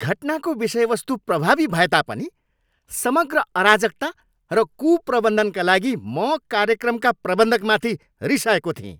घटनाको विषयवस्तु प्रभावी भए तापनि समग्र अराजकता र कुप्रबन्धनका लागि म कार्यक्रमका प्रबन्धकमाथि रिसाएको थिएँ।